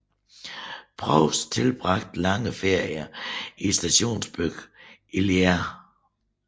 Proust tilbragte lange ferier i stationsbyen Illiers